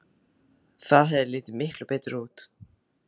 Það hefði litið miklu betur út.